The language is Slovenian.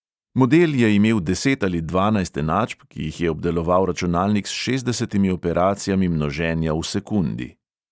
Model je imel deset ali dvanajst enačb, ki jih je obdeloval računalnik s šestdesetimi operacijami množenja v sekundi.